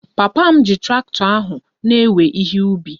Papa m ji traktọ ahụ na-ewe ihe ubi ya